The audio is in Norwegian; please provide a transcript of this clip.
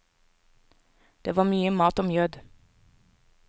Det var mye mat og mjød.